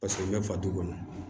Paseke n bɛ fa du kɔnɔ